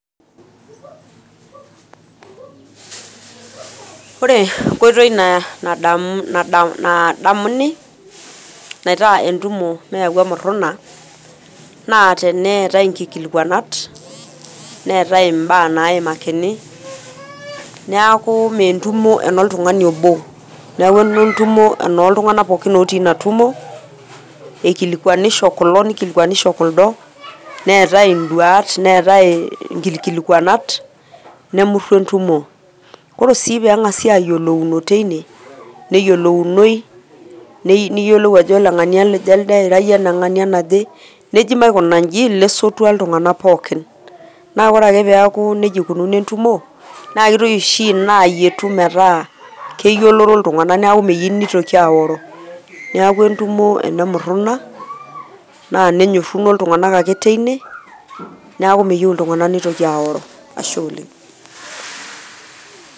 Ore enkoitoi nadamuni naita entumo meyau emurruna, naa teneetae nkikualakanat, neetae im`ba naimakini. Niaku mme entumo eno oltung`ani obo niaku entumo enoo iltung`anak pookin otii ina tumo. Ikilikinisho kulo nikilikuanisho kuldo neetae in`duat neetae nkikikwalakanat nemurru entumo. Ore sii pee eng`asi ayiolouno teine neyilounoi ajo ole ng`ania elde nira iyie eneng`ania naje. Neji maikuna inji lesotua iltung`anak pookin. Niaku ore ake pee eeku nejia eikununo entumo naa kitoki oshi ina ayietu metaa keyioloro iltung`anak niaku meyieu nitoki aoro niaku entumo ene murruna naa nenyooruno iltung`anak ake teine niaku meyieu neitoki aoro, ashe oleng.